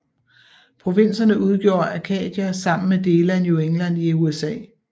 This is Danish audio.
Provinserne udgjorde Acadia sammen med dele af New England i USA